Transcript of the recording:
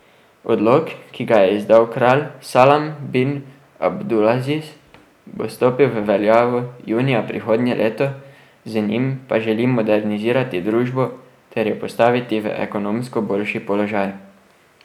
Odlok, ki ga je izdal kralj Salman bin Abdulaziz, bo stopil v veljavo junija prihodnje leto, z njim pa želi modernizirati družbo ter jo postaviti v ekonomsko boljši položaj.